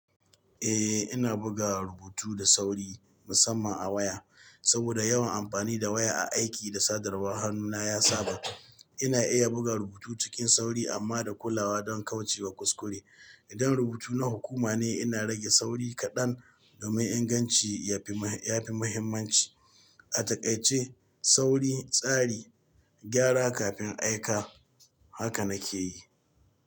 Eh ina buga rubutu da sauri musamman a waya. Saboda yawan amfani da waya a aiki da sadarwar hannuna ya saba. Ina iya buga rubutu cikin sauri amma da kulawa don kauce wa kuskure. Idan rubutu na hukuma ne ina rage sauri kaɗan domin inganci yafi muhimmanci. A takaice sauri, tsari, gyara kafin aika. Haka nake yi.